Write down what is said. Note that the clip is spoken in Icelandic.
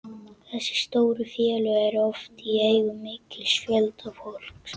Þessi stóru félög eru oft í eigu mikils fjölda fólks.